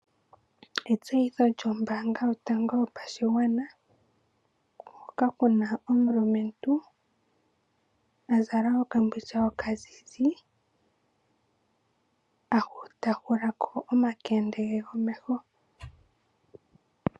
Etsyitho lyombaanga yotango yopashigwana, hoka ku na omulumentu a zala okambindja okazizi ta hula ko omakende ge gomeho.